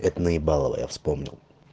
это наебалово я вспомнил